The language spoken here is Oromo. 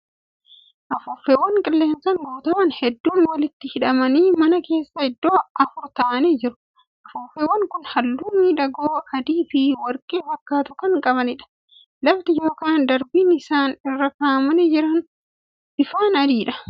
Afuuffeewwan qilleensaan guuttaman hedduun walitti hidhamanii mana keessa iddoo afur taa'anii jiru. Afuuffeewwan kun halluu miidhagoo adii fi warqee fakkaatu kan qabaniidha. Lafti yookan darbiin isaan irra kaa'amanii jiran bifaan adiidha.